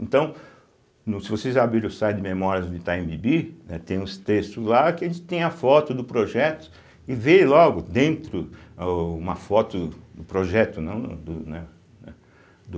Então, se vocês abrirem o site Memórias do Itaim Bibi, né, tem uns textos lá que a gente tem a foto do projeto e vê logo dentro o uma foto do projeto, não do né, né do